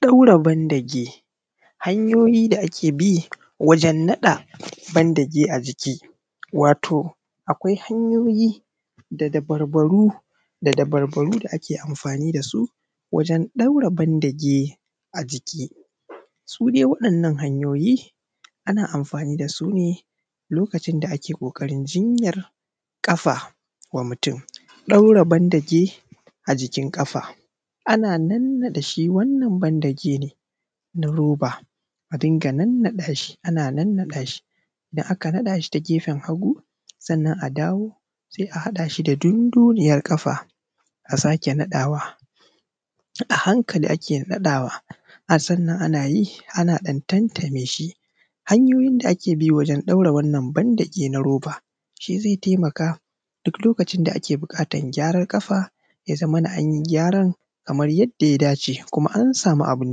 ɗaura bandeji: hanyoyi da ake bi wajen naɗa bandeji a jiki wato akwai hanyoyi da dabarabbaru da dabarbaru da ake amfani da su wajen ɗaura bandeji a jiki su ne waɗannan hanyoyin ana amfani da su ne lokacin da ake ƙoƙarin jinyar ƙafa wa mutum ɗaura bandeji a jikin ƙafa an nannaɗe shi, wannan bandejin na roba, a dinga nannaɗa shi. Ana nannaɗa shi indan aka naɗa shi ta gefen hagu, sannan a dawo se a haɗa shi da dundunyan ƙafa. A sake naɗawa a hanka-hanka da ake naɗawa, ɗaura bandeji: hanyoyi da ake bi wajen naɗa bandeji a jiki wato akwai hanyoyi da dabarabbaru da dabarbaru da ake amfani da su wajen ɗaura bandeji a jiki su ne waɗannan hanyoyin ana amfani da su ne lokacin da ake ƙoƙarin jinyar ƙafa wa mutum ɗaura bandeji a jikin ƙafa an nannaɗe shi, wannan bandejin na roba, a dinga nannaɗa shi. Ana nannaɗa shi indan aka naɗa shi ta gefen hagu, sannan a dawo se a haɗa shi da dundunyan ƙafa. A sake naɗawa a hanka-hanka da ake naɗawa, ɗaura bandeji: hanyoyi da ake bi wajen naɗa bandeji a jiki wato akwai hanyoyi da dabarabbaru da dabarbaru da ake amfani da su wajen ɗaura bandeji a jiki su ne waɗannan hanyoyin ana amfani da su ne lokacin da ake ƙoƙarin jinyar ƙafa wa mutum ɗaura bandeji a jikin ƙafa an nannaɗe shi, wannan bandejin na roba, a dinga nannaɗa shi. Ana nannaɗa shi indan aka naɗa shi ta gefen hagu, sannan a dawo se a haɗa shi da dundunyan ƙafa. A sake naɗawa a hanka-hanka da ake naɗawa, a sannan ana yi ana ɗan tantame shi. Hanyoyin da ake bi wajen ɗaura wannan bandeeji na roba ze taimaka duk lokacin da ake da buƙatar gyaran ƙafa. Ya zamana an yi gyaran kamar yadda ya dace, kuma an samu abin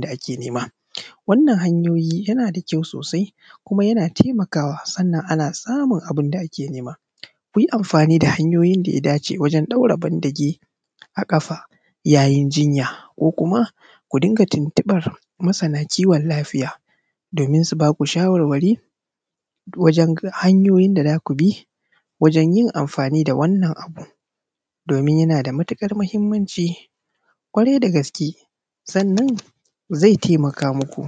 da ake nema. Wannan hanyoyin yana da kyau sosai, kuma yana taimakawa. Sannan ana samu abin da ake nema. Ku yi amfani da hanyoyin da ya dace wajen ɗaura bandeeji a ƙafa yayin jinya, ko kuma ku dinga tintibar masanan kiwon lafiya domin su baku shawara wajen hanyoyin da za ku bi wajen yin amfani da wannan abun. Domin yana da matuƙar mahinmanci ƙwarai da gaske, sannan zai taimaka muku.